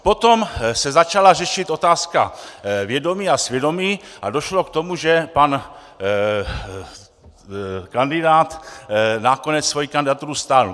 Potom se začala řešit otázka vědomí a svědomí a došlo k tomu, že pan kandidát nakonec svoji kandidaturu stáhl.